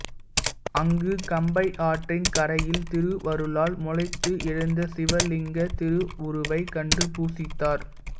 அங்கு கம்பையாற்றின் கரையில் திருவருளால் முளைத்து எழுந்த சிவலிங்கத் திருவுருவைக் கண்டு பூசித்தார்